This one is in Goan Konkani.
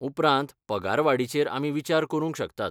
उपरांत पगार वाडीचेर आमी विचार करूंक शकतात.